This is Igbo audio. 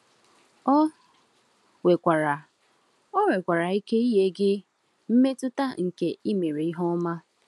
Ọ nwekwara Ọ nwekwara ike inye gị mmetụta nke imere ihe ọma.